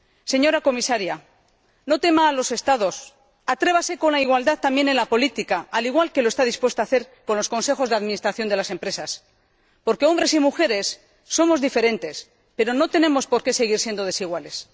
Señora Comisaria, no tema a los Estados atrévase con la igualdad también en la política, al igual que está dispuesta a hacerlo con los consejos de administración de las empresas, porque hombres y mujeres somos diferentes, pero no tenemos por qué seguir siendo desiguales.